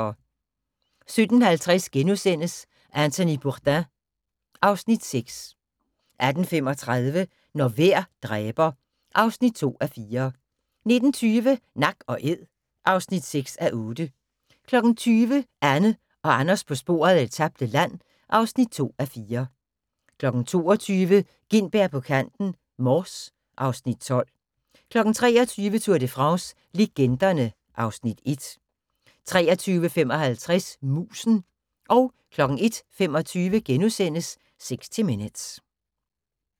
17:50: Anthony Bourdain ... (Afs. 6)* 18:35: Når vejr dræber (2:4) 19:20: Nak & æd (6:8) 20:00: Anne og Anders på sporet af det tabte land (2:4) 22:00: Gintberg på kanten - Mors (Afs. 12) 23:00: Tour de France - legenderne (Afs. 1) 23:55: Musen 01:25: 60 Minutes *